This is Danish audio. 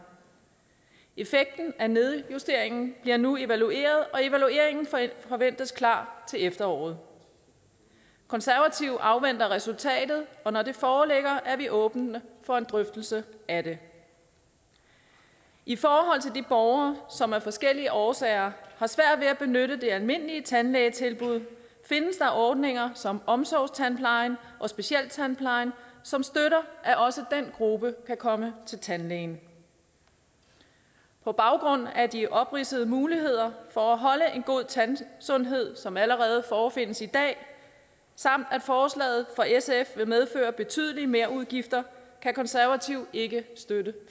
effekten af nedjusteringen bliver nu evalueret og evalueringen forventes klar til efteråret konservative afventer resultatet og når det foreligger er vi åbne for en drøftelse af det i forhold til de borgere som af forskellige årsager har svært ved at benytte det almindelige tandlægetilbud findes der ordninger som omsorgstandplejen og specialtandplejen som støtter at også den gruppe kan komme til tandlægen på baggrund af de opridsede muligheder for at holde en god tandsundhed som allerede forefindes i dag samt at forslaget fra sf vil medføre betydelige merudgifter kan konservative ikke støtte